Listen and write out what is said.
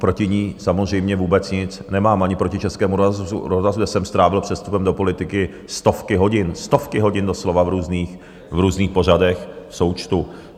Proti ní samozřejmě vůbec nic nemám, ani proti Českému rozhlasu, kde jsem strávil před vstupem do politiky stovky hodin, stovky hodin doslova v různých pořadech v součtu.